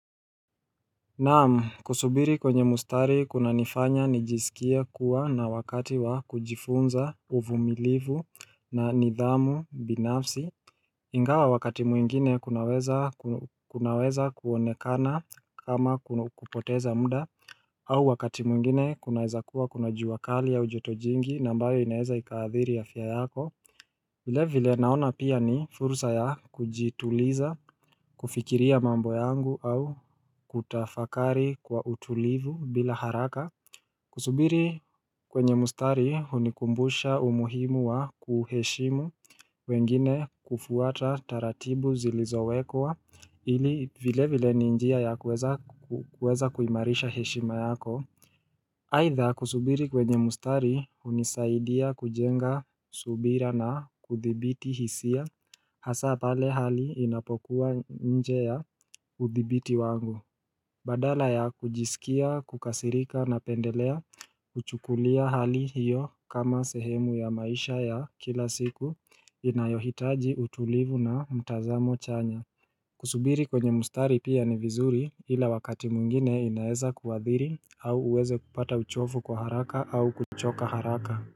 Naam kusubiri kwenye mustari kuna nifanya nijiskie kuwa na wakati wa kujifunza uvumilivu na nidhamu binafsi Ingawa wakati mwingine kunaweza ku kunaweza kuonekana kama kun kupoteza muda au wakati mwingine kunaezakuwa kuna jua kali au jotojingi nambayo inaeza ikaadhiri afya yako vile vile naona pia ni fursa ya kujituliza kufikiria mambo yangu au kutafakari kwa utulivu bila haraka Kusubiri kwenye mustari hunikumbusha umuhimu wa kuheshimu wengine kufuata taratibu zilizowekwa ili vile vile ninjia ya kueza ku kueza kuimarisha heshima yako Aidha kusubiri kwenye mustari unisaidia kujenga subira na kuthibiti hisia hasa pale hali inapokuwa nje ya uthibiti wangu. Badala ya kujiskia, kukasirika na pendelea, kuchukulia hali hiyo kama sehemu ya maisha ya kila siku inayohitaji utulivu na mtazamo chanya. Kusubiri kwenye mstari pia ni vizuri ila wakati mwingine inaeza kuadhiri au uweze kupata uchofu kwa haraka au kuchoka haraka.